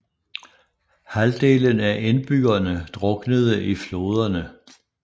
Halvdelen af indbyggerne druknede i floderne